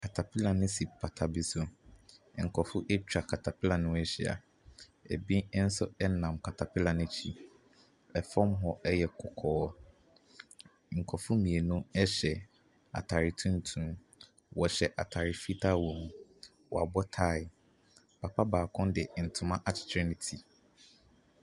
Katapila no si pata bi. Nkrɔfoɔ atwa katapila no ho ahyia. Ebi nso nam katapila no akyi. Ɛfɔm hɔ yɛ kɔkɔɔ. Nkrɔfoɔ mmienu hyɛ ataare tuntum. Wɔhyɛ ataare fitaa wɔ mu. Wɔabɔ tae. Papa baako de ntoma akyekyer ne ti.